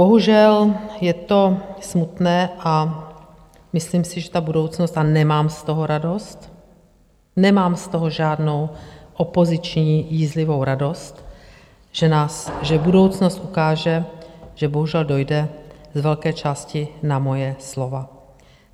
Bohužel, je to smutné a myslím si, že ta budoucnost, a nemám z toho radost, nemám z toho žádnou opoziční jízlivou radost, že budoucnost ukáže, že bohužel dojde z velké části na moje slova.